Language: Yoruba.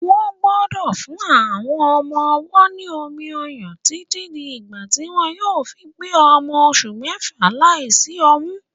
Wọ́n gbọ́dọ̀ fún àwọn ọmọ-ọwọ́ ní omi-ọyàn títí di ìgbà tí wọ́n yóò fi pé ọmọ oṣù mẹ́fà láìsí omi.